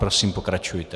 Prosím, pokračujte.